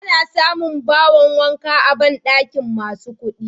Ana samun bahon wanka a banɗakin masu kuɗi.